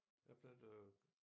Jeg planter